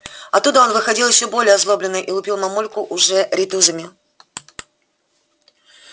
оттуда он выходил ещё более озлобленный и лупил мамульку уже рейтузами